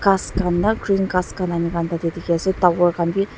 kas kan na green kas kan ami kan tate diki ase tower kan b.